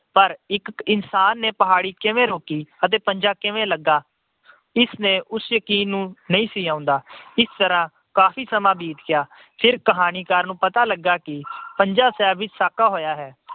ਪਰ ਇਕ ਇਨਸਾਨ ਨੇ ਪਹਾੜੀ ਕਿਵੇਂ ਰੋਕੀ ਤੇ ਪੰਜਾ ਕਿਵੇਂ ਲੱਗਾ। ਇਸ ਤੇ ਉਸਨੂੰ ਯਕੀਨ ਨਹੀਂ ਸੀ ਆਉਂਦਾ। ਇਸ ਤਰ੍ਹਾਂ ਕਾਫੀ ਸਮਾਂ ਬੀਤ ਗਿਆ। ਫਿਰ ਕਹਾਣੀਕਾਰ ਨੂੰ ਪਤਾ ਲੱਗਾ ਕਿ ਪੰਜਾ ਸਾਹਿਬ ਵਿੱਚ ਸਾਕਾ ਹੋਇਆ ਹੈ।